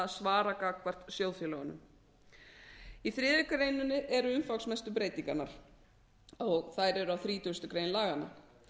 að svara gagnvart sjóðfélögunum í þriðju greinar eru umfangsmestu breytingarnar og þær eru á þrítugustu greinar laganna